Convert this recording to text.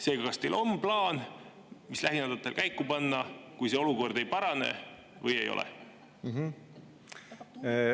Seega, kas teil on plaan, mis lähinädalatel käiku panna, kui see olukord ei parane, või ei ole?